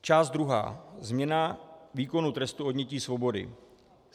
Část druhá - Změna výkonu trestu odnětí svobody.